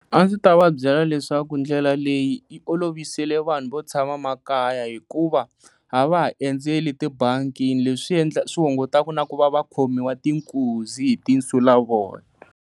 A ndzi ta va byela leswaku ndlela leyi yi olovisele vanhu vo tshama makaya hikuva a va ha endzeli tibangini leswi swi hungataka na ku va va khomiwa tinkuzi hi ti nsulavoya.